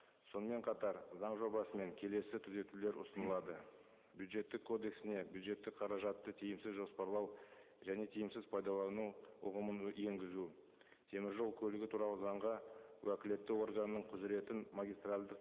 сонымен қатар заң жобасымен келесі түзетулер ұсынылады бюджеттік кодексіне бюджеттік қаражатты тиімсіз жоспарлау және тиімсіз пайдалану ұғымын енгізу теміржол көлігі туралы заңға уәкілетті органның құзыретін магистральдық